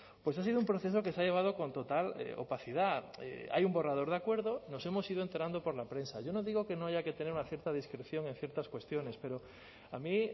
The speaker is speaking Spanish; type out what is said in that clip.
pues ha sido un proceso que se ha llevado con total opacidad hay un borrador de acuerdo nos hemos ido enterando por la prensa yo no digo que no haya que tener una cierta discreción en ciertas cuestiones pero a mí